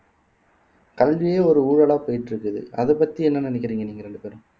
கல்வியே ஒரு ஊழலா போயிட்டு இருக்குது அதப் பத்தி என்ன நினைக்கிறீங்க நீங்க ரெண்டு பேரும்